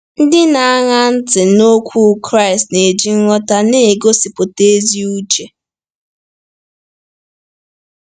Ndị na-aṅa ntị n’okwu Kraịst na-eji nghọta na-egosipụta ezi uche.